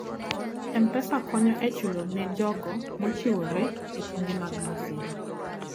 M-Pesa konyo e chulo ne jogo mochiwore e kinde mag masira.